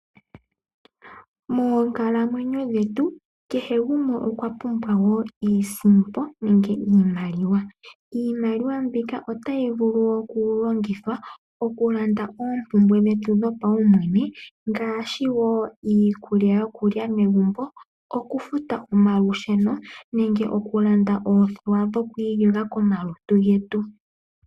Moonkalamwenyo dhetu kehe gumwe okwa pumbwa iisimpo nenge iimaliwa. Iimaliwa mbika otayi vulu okulongithwa okulanda oompumbwe dhetu dhopaumwene ngaashi iikulya yokulya megumbo, okufuta omalusheno, nenge oku landa oothewa dhoku iyoga komalutu getu.